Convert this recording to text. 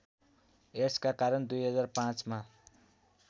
एड्सका कारण २००५ मा